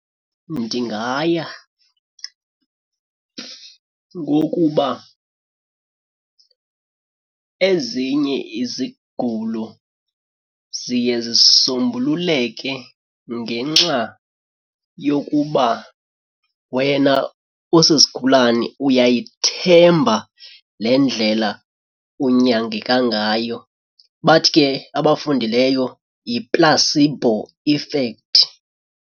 Ndingaya ngokuba ezinye izigulo ziye zisombululeke ngenxa yokuba wena usisigulane uyayithemba le ndlela unyangeka ngayo. Bathi ke abafundileyo yi-placebo effect.